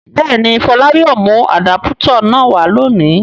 Bẹ́ẹ̀ ni, Fọlá yóò mú àdápútọ̀ náà wá lónìí.